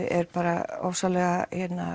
er bara ofsalega